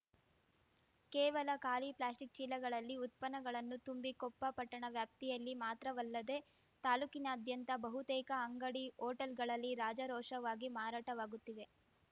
ಕೇವಲ ಖಾಲಿ ಪ್ಲಾಸ್ಟಿಕ್‌ ಚೀಲಗಳಲ್ಲಿ ಉತ್ಪನ್ನಗಳನ್ನು ತುಂಬಿ ಕೊಪ್ಪ ಪಟ್ಟಣ ವ್ಯಾಪ್ತಿಯಲ್ಲಿ ಮಾತ್ರವಲ್ಲದೆ ತಾಲೂಕಿನಾದ್ಯಂತ ಬಹುತೇಕ ಅಂಗಡಿ ಹೋಟೆಲ್‌ಗಳಲ್ಲಿ ರಾಜಾರೋಷವಾಗಿ ಮಾರಾಟವಾಗುತ್ತಿವೆ